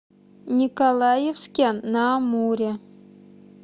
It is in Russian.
николаевске на амуре